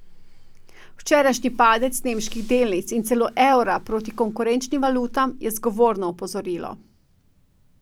Včerajšnji padec nemških delnic in celo evra proti konkurenčnim valutam je zgovorno opozorilo.